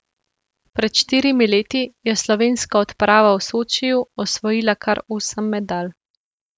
Pred štirimi leti je slovenska odprava v Sočiju osvojila kar osem medalj.